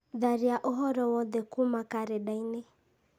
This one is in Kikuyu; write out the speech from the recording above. tharia ũhoro wothe kuuma karenda-inĩ